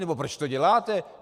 Nebo proč to děláte?